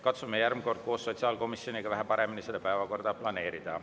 Katsume järgmine kord koos sotsiaalkomisjoniga vähe paremini päevakorda planeerida.